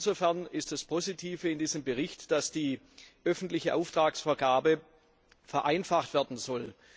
Insofern ist das Positive in diesem Bericht, dass die öffentliche Auftragsvergabe vereinfacht werden soll.